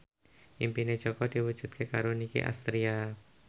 impine Jaka diwujudke karo Nicky Astria